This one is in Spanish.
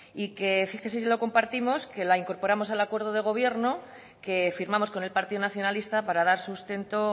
y que fíjese si lo compartimos que la incorporamos al acuerdo de gobierno que firmamos con el partido nacionalista para dar sustento